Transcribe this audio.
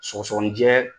Sɔgɔsɔgɔnijɛ